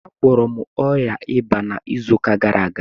Agwọrọ m ọrịa ịba m n'izu gara aga